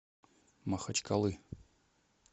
махачкалы